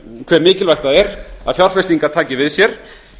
hve mikilvægt það er að fjárfestingar taki við sér